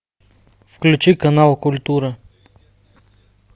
включи канал культура